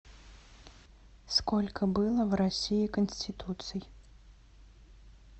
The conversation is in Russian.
сколько было в россии конституций